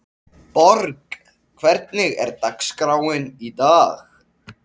Borg, hvernig er dagskráin í dag?